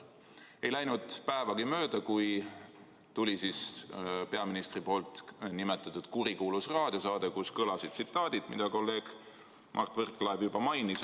Ei läinud päevagi mööda, kui tuli ka peaministri nimetatud kurikuulus raadiosaade, kus kõlasid tsitaadid, mida kolleeg Mart Võrklaev juba mainis.